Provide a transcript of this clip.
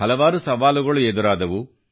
ಹಲವಾರು ಸವಾಲುಗಳು ಎದುರಾದವು